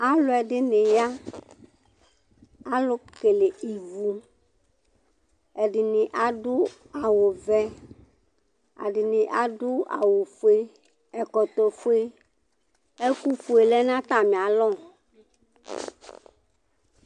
Alu ɛɖɩnɩ ya, mɛ alu kele ɩvu Ɛɖɩnɩ aɖu awu vɛ, ɛɖɩnɩ aɖu awu foe Ɛkɔtɔ foe, ɛku foe lɛ nu atami alɔ